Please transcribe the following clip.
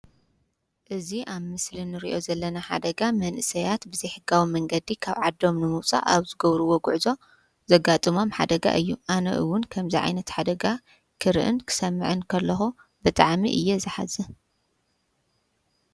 እዚ ኣብ ምስሊ እንርእዮ ዘለና ሓደጋ መንእሰያት ብዘይሕጋዊ መንገዲ ካብ ዓዶም ንምዉጻእ ኣብ ዝገበርዎ ጉዕዞ ዘጋጥሞም ሓደጋ እዩ። ኣነ እዉን ከምዚ ዓይነት ሓደጋ ክርእን ክሰምዕን ከለኹ ብጣዕሚ እየ ዘሓዝን።